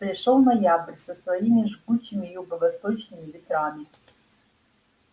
пришёл ноябрь со своими жгучими юго-восточными ветрами